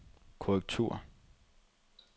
korrektur